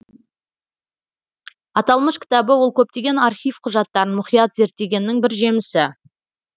аталмыш кітабы ол көптеген архив құжаттарын мұқият зерттегеннің бір жемісі